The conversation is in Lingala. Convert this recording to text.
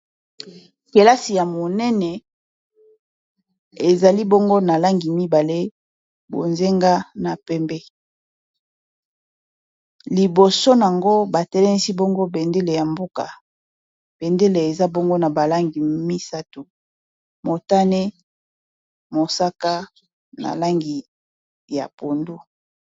pelasi ya monene ezali bongo na langi mibale bozenga na pembe liboso yango batelemisi bongo pendele ya mboka pendele eza bongo na balangi misato motane mosaka na langi ya pondo